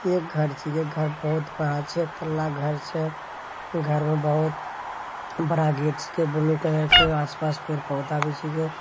एक घर छीके घर बहुत बड़ा छे घर छे घर मे बहुत बड़ा गेट छीके ब्लू कलर के आस-पास पेड़-पौधा भी छीके --